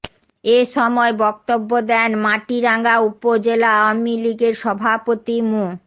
এ সময় বক্তব্য দেন মাটিরাঙ্গা উপজেলা আওয়ামী লীগের সভাপতি মো